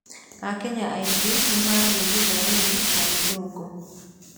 Akenya aingĩ nĩ maaragia Gĩthwaĩri na Gĩthũngũ.